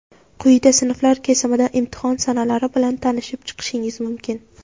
Quyida sinflar kesimida imtihon sanalari bilan tanishib chiqishingiz mumkin.